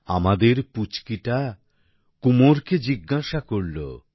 আমাদের পুচকিটা কুমোরকে জিজ্ঞাসা করল